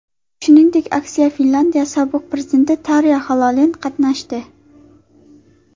Shuningdek, aksiyada Finlyandiya sobiq prezidenti Tarya Xalonen qatnashdi.